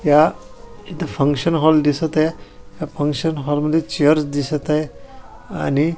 या इथ function hall दिसत आहे या फंक्शन हॉल मध्ये चेअर्स दिसत आहे आणि --